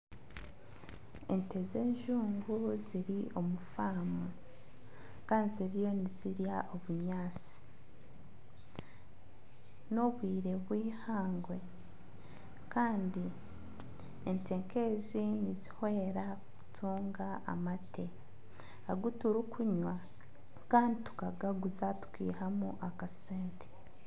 Ente z'enju ziri omu famu kandi ziriyo nizirya obunyaatsi. N'obwire bwihangwe kandi ente nk'ezi nizihwera kutunga amate agu turikunywa kandi tukagaguza tukiihanu akasente.